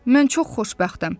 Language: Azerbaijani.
Mən çox xoşbəxtəm.